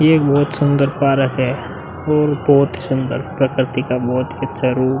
ये एक बहोत सुन्दर पारक है और बहोत ही सुन्दर प्रकृति का बहोत ही अच्छा रूप।